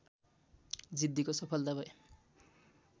जिद्दीको सफलता भए